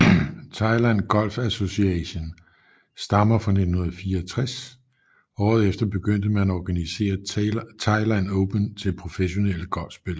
Thailand Golf Association stammer fra 1964 og året efter begyndte man at organisere Thailand Open til professionelle golfspillere